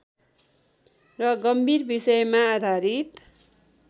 र गम्भीर विषयमा आधारित